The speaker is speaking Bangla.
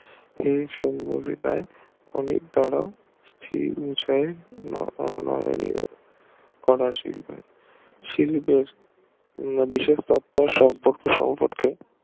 হে শুন্য বিদায় ফলের দ্বারা কোদা শিল্পের শিল্পের